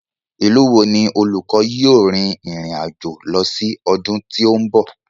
Ìlú wo ni olùkọ́ yóò rin ìrìn àjò lọ sí ọdún tí ó ń bọ̀?